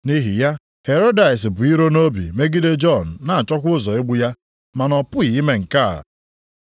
Nʼihi ya Herodịas bu iro nʼobi megide Jọn na-achọkwa ụzọ igbu ya, mana ọ pụghị ime nke a,